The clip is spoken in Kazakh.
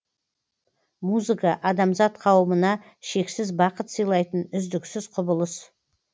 музыка адамзат қауымына шексіз бақыт сыйлайтын үздіксіз құбылыс